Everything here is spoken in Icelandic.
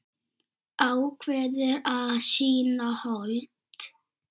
Ákveður að sýna hold.